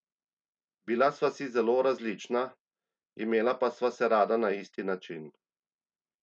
Bila sva si zelo različna, imela pa sva se rada na isti način!